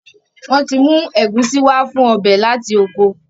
Wón tí mú Egusi wá fún ọbẹ lati okò.